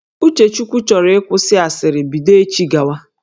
Uchechukwu chọrọ ịkwụsị asịrị bido echi gawa